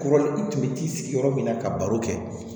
Kɔrɔ tun bɛ t'i sigi yɔrɔ min na ka baro kɛ